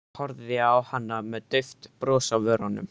Horfði á hana með dauft bros á vörunum.